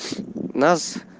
нас